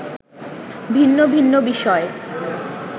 ভিন্ন ভিন্ন বিষয়